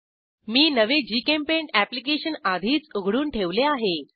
मी नवे जीचेम्पेंट अॅप्लिकेशन आधीच उघडून ठेवले आहे